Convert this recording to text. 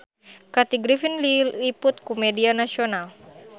Kathy Griffin diliput ku media nasional